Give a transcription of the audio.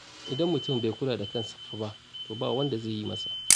Idan mutum bai kula da kansa fa ba, to ba wanda zai yi masa